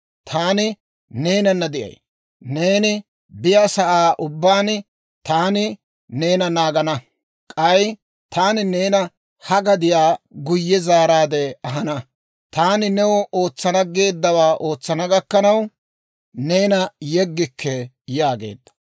Taani neenana de'ay; neeni biyaasa'aa ubbaan taani neena naagana; k'ay taani neena ha gadiyaa guyye zaaraade ahana; taani new ootsana geeddawaa ootsana gakkanaw neena yeggikke» yaageedda.